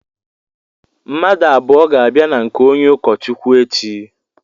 Mmadụ abụọ ga-abịa na nke onye ụkọ Chukwu echi.